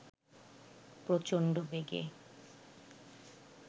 প্রচণ্ড বেগে